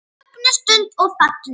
Mögnuð stund og falleg.